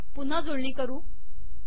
पुन्हा जुळणी करू